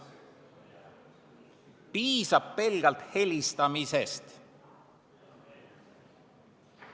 Piisab pelgalt helistamisest.